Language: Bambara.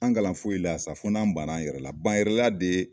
An kalan foyi la ya sa fo n'an ban na an yɛrɛ la ban yɛrɛla de ye.